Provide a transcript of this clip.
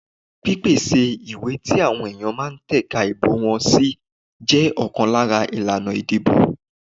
Pípèsè ìwé tí àwọn èèyàn ma tẹ̀ka ìbò wọn sí jẹ ọ̀kan lára ìlànà ìdìbò.